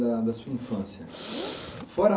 Da da sua infância. Fora